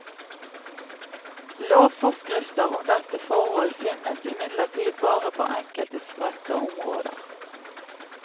Lovforskrifter om dette forhold finnes imidlertid bare på enkelte spredte områder.